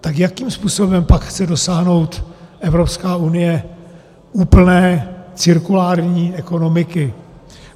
Tak jakým způsobem pak chce dosáhnout Evropská unie úplné cirkulární ekonomiky?